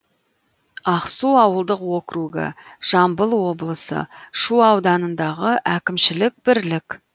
ақсу ауылдық округі жамбыл облысы шу ауданындағы әкімшілік бірлік